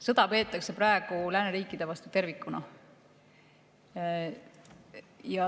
Sõda peetakse praegu lääneriikide vastu tervikuna.